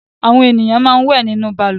Àwọn ènìyàn máa ń wẹ̀ nínú balùwẹ̀.